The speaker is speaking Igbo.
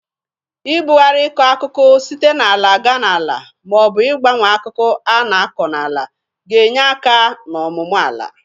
Ị bụgarị ịkọ akụkụ site n'ala ga n'ala ma ọ bụ ịgbanwe akụkụ a na-akọ n'ala ga-enye aka n'ọmụmụ ala.